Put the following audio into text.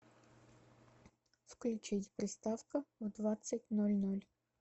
включить приставка в двадцать ноль ноль